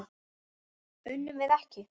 Unnum við ekki?